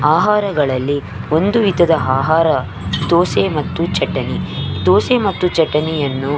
ಆಹಾರಗಳಲ್ಲಿ ಒಂದು ವಿಧದ ಆಹಾರ ದೋಸೆ ಮತ್ತು ಚಟ್ನಿ ದೋಸೆ ಮಾಸ್ತ್ತು ಚಟ್ನಿಯನ್ನು.